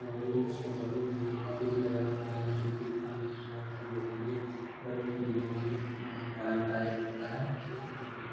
और उसके बगल में एक फ्रिज लगा हुआ है जो कि पानी ठंडा करने के लिए अम आरामदायक होता है। ठंडा पानी।